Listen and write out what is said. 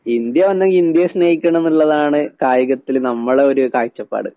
India വന്നെങ്കി ഇന്ത്യയെ സ്നേഹിക്കണന്നിള്ളതാണ് കായികത്തില് നമ്മളെയൊര് കാഴ്ചപ്പാട്.